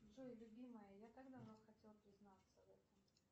джой любимая я так давно хотел признаться в этом